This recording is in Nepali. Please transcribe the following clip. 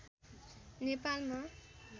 नेपालमा